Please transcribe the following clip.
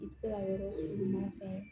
I bɛ se ka yɔrɔ ɲuman fɛn